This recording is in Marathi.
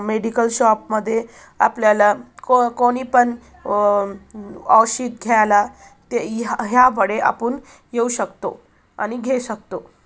मेडिकल शॉप मध्ये आपल्या ला को कोणीपन औषध घ्यायला ह्या कडे आपण येऊ शकतो आणि घेऊ शकतो.